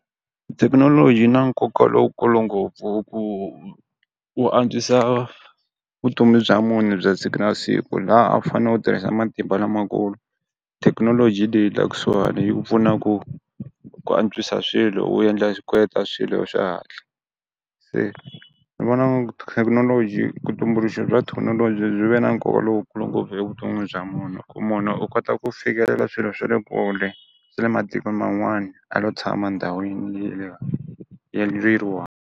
Thekinoloji yi na nkoka lowukulu ngopfu u antswisa vutomi bya munhu bya siku na siku laha a wu fane u tirhisa matimba lamakulu, thekinoloji leyi la kusuhani yi pfuna ku ku antswisa swilo u endla swilo xihatla ni vona thekinoloji kutumbuluxa bya thekinoloji byi ve na nkoka lowukulu ngopfu evuton'wini bya munhu ku munhu u kota ku fikelela swilo swa le kule swa le matikweni man'wani a lo tshama ndhawini ya .